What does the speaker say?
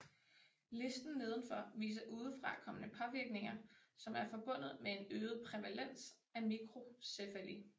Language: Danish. Listen nedenfor viser udefrakommende påvirkninger som er forbundet med en øget prævalens af mikrocephali